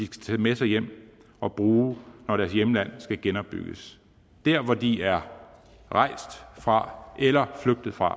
tage med sig hjem og bruge når deres hjemland skal genopbygges der hvor de er rejst fra eller flygtet fra